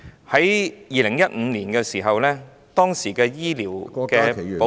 在2015年，當時的醫療保費......